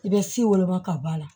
I bɛ si woloma ka b'a la